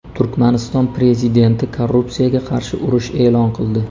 Turkmaniston prezidenti korrupsiyaga qarshi urush e’lon qildi.